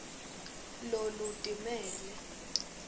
lolutimele